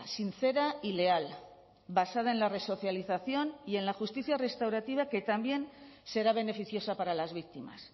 sincera y leal basada en la resocialización y en la justicia restaurativa que también será beneficiosa para las víctimas